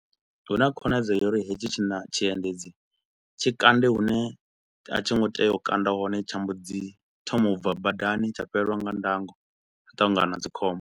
Hu na khonadzeo ya uri hetshi tshi na tshiendedzi tshikande hune a tshi ngo tea u kanda hone tsha mbo dzi thoma u bva badani tsha fhelelwa nga ndango hu u ṱangana na dzikhombo.